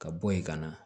Ka bɔ yen ka na